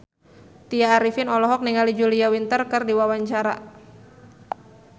Tya Arifin olohok ningali Julia Winter keur diwawancara